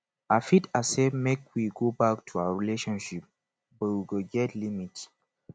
i fit accept make we go back to our relationship but we go get limit